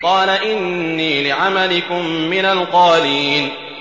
قَالَ إِنِّي لِعَمَلِكُم مِّنَ الْقَالِينَ